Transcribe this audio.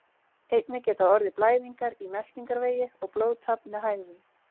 Einnig geta orðið blæðingar í meltingarvegi og blóðtap með hægðum.